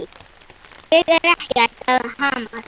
Ég er ekkert að hamast.